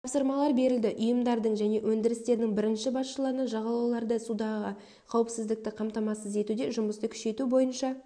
тапсырмалар берілді ұйымдардың және өндірістердің бірінші басшыларына жағалауларда судағы қауіпсіздікті қамтамассыз етуде жұмысты күшейту бойынша